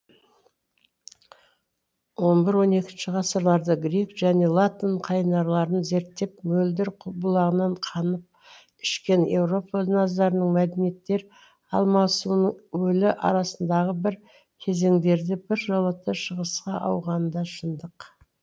он бір он екінші ғасырларда грек және латын қайнарларын зерттеп мөлдір бұлағынан қанып ішкен еуропа назарының мәдениеттер алмасуының өлі арасындағы бір кезеңдерде біржолата шығысқа ауғаны да шындық